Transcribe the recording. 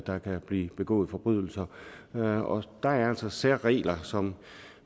der kan blive begået forbrydelser og der er altså særregler som